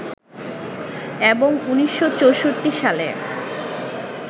এবং ১৯৬৪ সালে